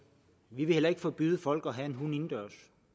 vi vil heller ikke forbyde folk at have en hund indendørs